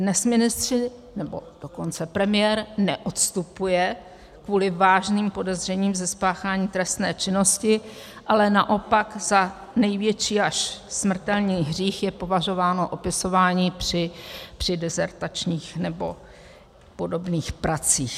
Dnes ministři, nebo dokonce premiér neodstupuje kvůli vážným podezřením ze spáchání trestné činnosti, ale naopak za největší až smrtelný hřích je považováno opisování při disertačních nebo podobných pracích.